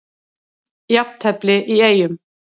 Jafntefli í Eyjum